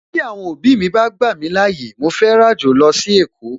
Tí Àwọn òbí mi bá gbà mí láyè, màá fẹ́ ràjò lọ sí èkó